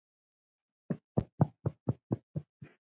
Hringi á eftir